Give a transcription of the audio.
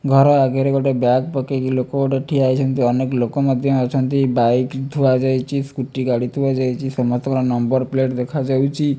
ଘର ଆଗରେ ଗୋଟେ ବ୍ୟାଗ ପକେଇକି ଲୋକ ଗୋଟେ ଠିଆ ହେଇଛନ୍ତି ଅନେକ ଲୋକ ମଧ୍ୟ ଅଛନ୍ତି ବାଇକ ଥୁଆ ଯାଇଚି ସ୍କୁଟି ଗାଡି ଥୁଆଯାଇଚି ସମସ୍ତଙ୍କର ନମ୍ବର ପ୍ଲେଟ ଦେଖାଯାଉଚି ।